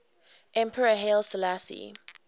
emperor haile selassie